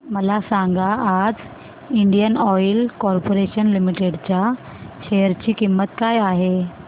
मला सांगा आज इंडियन ऑइल कॉर्पोरेशन लिमिटेड च्या शेअर ची किंमत काय आहे